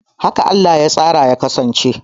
Haka Allah ya tsara ya kasance